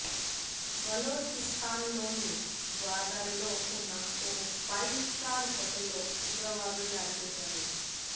బలోచిస్తాన్లోని గ్వాదర్లో ఉన్న ఓ ఫైవ్ స్టార్ హోటల్లో ఉగ్రవాదులు దాడి చేశారు